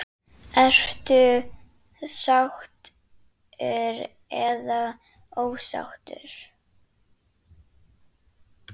Ertu sáttur eða ósáttur?